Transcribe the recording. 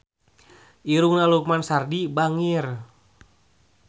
Irungna Lukman Sardi bangir